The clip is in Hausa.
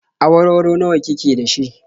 Awarwaro nawa ki ke da shi?